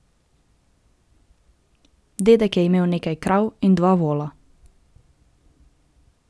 Dedek je imel nekaj krav in dva vola.